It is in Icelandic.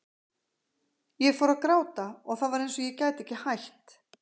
Ég fór að gráta og það var eins og ég gæti ekki hætt.